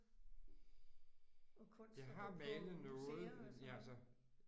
Og kunst og gå på museer og sådan noget?